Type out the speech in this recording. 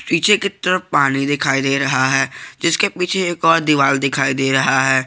पीछे की तरफ पानी दिखाई दे रहा है जिसके पीछे एक और दीवार दिखाई दे रहा है।